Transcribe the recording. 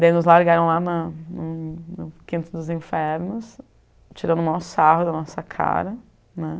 Daí nos largaram lá na no no no Quinto dos Infernos, tirando o maior sarro da nossa cara, né?